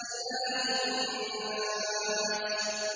إِلَٰهِ النَّاسِ